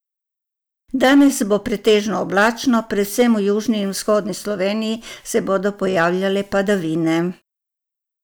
Danes bo pretežno oblačno, predvsem v južni in vzhodni Sloveniji se bodo pojavljale padavine.